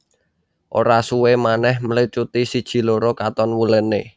Ora suwe manèh mlecuti siji loro katon wulene